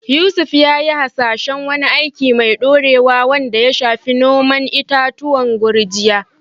Yusuf ya yi hasashen wani aiki mai dorewa wanda ya shafi noman itatuwan gurjiya.